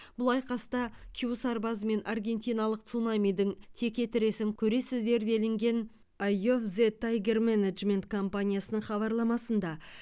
бұл айқаста кю сарбазы мен аргентиналық цунамидің текетіресін көресіздер делінген ай ов зе тайгер менеджмент компаниясының хабарламасында